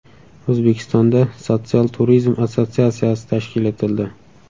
O‘zbekistonda Sotsial turizm assotsiatsiyasi tashkil etildi.